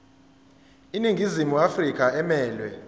iningizimu afrika emelwe